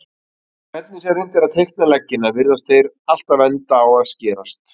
Hvernig sem reynt er að teikna leggina virðast þeir alltaf enda á að skerast.